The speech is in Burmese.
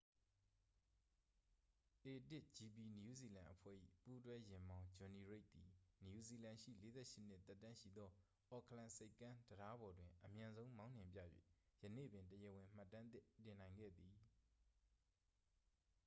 a1gp နယူးဇီလန်အဖွဲ့၏ ပူးတွဲယာဉ်မောင်း ဂျွန်နီရိတ်သည် နယူးဇီလန်ရှိ 48 နှစ် သက်တမ်းရှိသော အော့ကလန်ဆိပ်ကမ်းတံတားပေါ်တွင် အမြန်ဆုံးမောင်းနှင်ပြ၍ ယနေ့ပင် တရားဝင် မှတ်တမ်းသစ် တင်နိုင်ခဲ့သည်